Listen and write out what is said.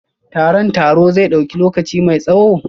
Taron taro zai dauki lokaci mai tsawo?